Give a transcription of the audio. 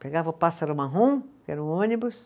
Pegava o pássaro marrom, que era o ônibus.